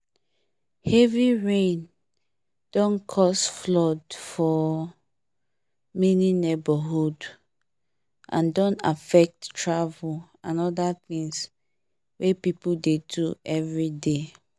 heavy rain don cause flood for many neighbourhood and don affect travel and other things wey people dey do everyday